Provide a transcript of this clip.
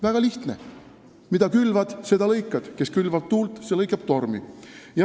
Väga lihtne: mida külvad, seda lõikad, kes külvab tuult, see lõikab tormi.